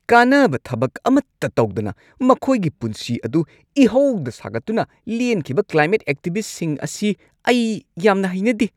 ꯀꯥꯟꯅꯕ ꯊꯕꯛ ꯑꯃꯠꯇ ꯇꯧꯗꯅ ꯃꯈꯣꯏꯒꯤ ꯄꯨꯟꯁꯤ ꯑꯗꯨ ꯏꯍꯧꯗ ꯁꯥꯒꯠꯇꯨꯅ ꯂꯦꯟꯈꯤꯕ ꯀ꯭ꯂꯥꯏꯃꯦꯠ ꯑꯦꯛꯇꯤꯚꯤꯁꯠꯁꯤꯡ ꯑꯁꯤ ꯑꯩ ꯌꯥꯝꯅ ꯍꯩꯅꯗꯦ ꯫